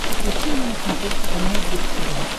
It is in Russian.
включи мне на смотрешке канал бридж тв